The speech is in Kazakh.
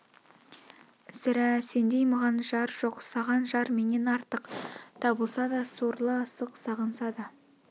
сірә сендей маған жар жоқ саған жар менен артық табылса да сорлы асық сағынса да